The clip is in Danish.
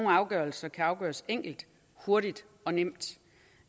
afgørelser kan afgøres enkelt hurtigt og nemt